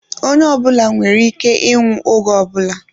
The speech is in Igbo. Onye ọ bụla nwere ike ịnwụ oge ọ bụla